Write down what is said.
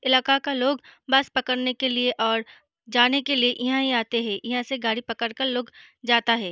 इलाका का लोग बस पकड़ने के लिए और जाने के लिए इहाँ ही आते हैं। इहाँ से गाड़ी पकड़ कर लोग जाता हैं।